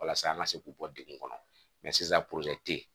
Walasa an ka se k'u bɔ degun kɔnɔ mɛ sisan